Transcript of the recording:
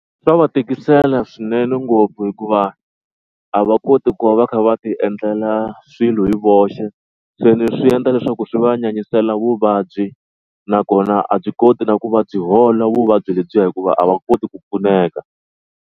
Swa va tikisela swinene ngopfu hikuva a va koti ku va va kha va ti endlela swilo hi voxe. Se leswi swi endla leswaku swi va nyanyisela vuvabyi nakona a byi koti na ku va byi hola vuvabyi lebyiya hikuva a va koti ku pfuneka.